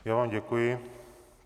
Já vám děkuji.